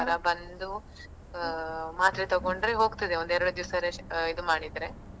ಜ್ವರ ಬಂದು ಅಹ್ ಮಾತ್ರೆ ತೆಕೊಂಡ್ರೆ ಹೋಗ್ತದೆ ಒಂದ್ ಎರಡ್ ದಿವ್ಸ rest ಇದ್ ಮಾಡಿದ್ರೆ.